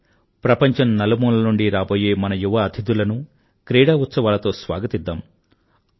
రండి ప్రపంచం నలుమూలల నుండి రాబోయే మన యువ అతిథులను క్రీడా ఉత్సవాలతో స్వాగతిద్దాం